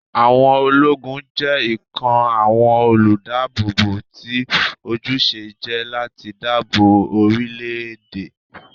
Àwọn ológun jẹ́ ikọ̀ àwọn olùdáàbòbò tí ojúṣe jẹ́ láti dáàbò bo orílé-èdè